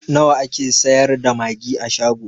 Nawa ake sayar da magi a shago?